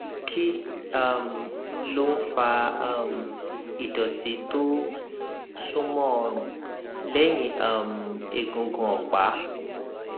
kí um ló ń fa um ìdọtí tó súnmọ ọrùn lẹyìn um egungun ọpá